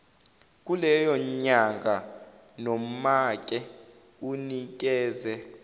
kuleyonyanga nomake unikeze